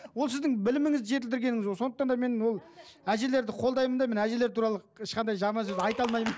ол сіздің біліміңізді жетілдіргеніңіз ғой сондықтан да мен ол әжелерді қолдаймын да мен әжелер туралы ешқандай жаман сөз айта алмаймын